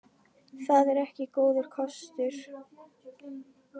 Það er ekki góður kostur.